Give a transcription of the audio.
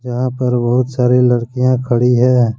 यहा पर बहुत सारी लड़कियां खड़ी हैं।